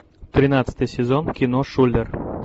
тринадцатый сезон кино шулер